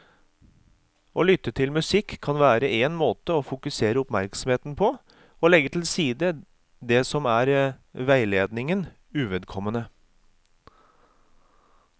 Å lytte til musikk kan være en måte å fokusere oppmerksomheten på og legge til side det som er veiledningen uvedkommende.